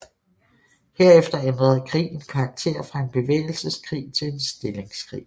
Herefter ændrede krigen karakter fra en bevægelseskrig til en stillingskrig